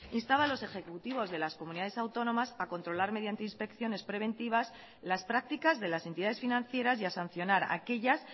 instaba a los ejecutivos de las comunidades autónomas a controlar mediante inspecciones preventivas las prácticas de las entidades financieras y a sancionar a aquellas